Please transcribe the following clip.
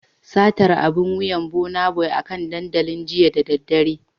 Satar abun wuyan Burnaboy akan dandalin jiya da daddare